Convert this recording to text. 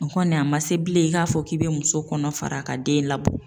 O kɔni a ma se bilen i k'a fɔ k'i bɛ muso kɔnɔ fara ka den labɔ.